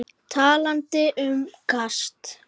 Talandi um kast.